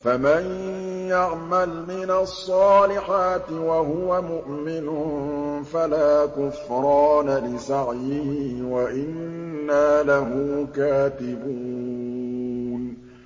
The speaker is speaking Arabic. فَمَن يَعْمَلْ مِنَ الصَّالِحَاتِ وَهُوَ مُؤْمِنٌ فَلَا كُفْرَانَ لِسَعْيِهِ وَإِنَّا لَهُ كَاتِبُونَ